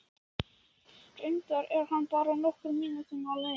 Reyndar er hann bara nokkrar mínútur á leiðinni.